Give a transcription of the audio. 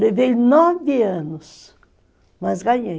Levei nove anos, mas ganhei.